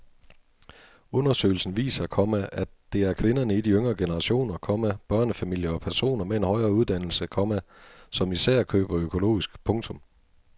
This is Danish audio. Undersøgelsen viser, komma at det er kvinderne i de yngre generationer, komma børnefamilier og personer med en højere uddannelse, komma som især køber økologisk. punktum